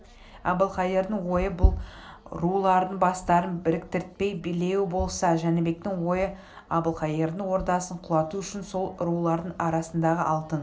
әбілқайырдың ойы бұл рулардың бастарын біріктіртпей билеу болса жәнібектің ойы әбілқайырдың ордасын құлату үшін сол рулардың арасындағы алтын